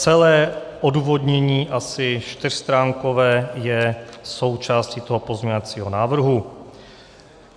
Celé odůvodnění, asi čtyřstránkové, je součástí toho pozměňovacího návrhu.